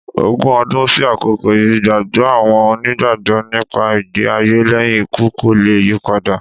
Ogun ọdún sí àkókò yìí, ìgbàgbọ́ àwọn Onígbàgbọ́ nípa ìgbé-ayé lẹ́yìn ikú kò le yípadà.